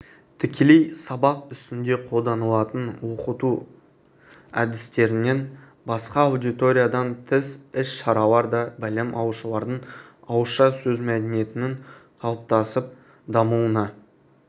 тікелей сабақ үстінде қолданылатын оқыту әдістерінен басқа аудиториядан тыс іс-шаралар да білім алушылардың ауызша сөз мәдениетінің қалыптасып дамуына